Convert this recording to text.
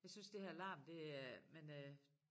Jeg synes det her larm det er men øh